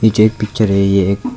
जो ये पिक्चर है ये एक--